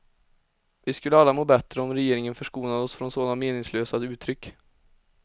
Vi skulle alla må bättre om regeringen förskonade oss från sådana meningslösa uttryck.